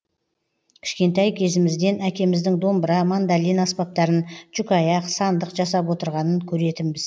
кішкентай кезімізден әкеміздің домбыра мандолин аспаптарын жүкаяқ сандық жасап отырғанын көретінбіз